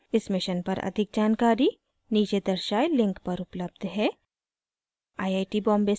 इस mission पर अधिक जानकारी नीचे दर्शाये link पर उपलब्ध है